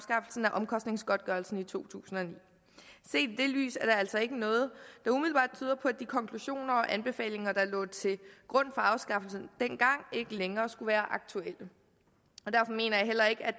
omkostningsgodtgørelsen i to tusind og ni set i det lys er der altså ikke noget der umiddelbart tyder på at de konklusioner og anbefalinger der dengang lå til grund for afskaffelsen ikke længere skulle være aktuelle derfor mener jeg heller ikke at